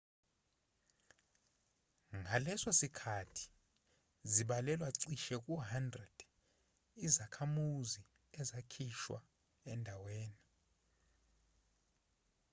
ngaleso sikhathi zibalelwa cishe ku-100 izakhamuzi ezakhishwa endawe$ni